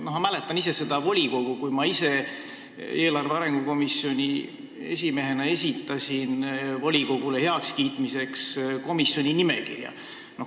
Ma mäletan seda volikogu istungit, kui ma ise eelarve- ja arengukomisjoni esimehena esitasin volikogule heakskiitmiseks komisjoni nimekirja.